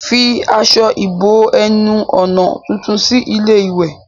Fi aṣọ ìbo-ẹnu-ọ̀nà tuntun sí ilé-ìwẹ̀.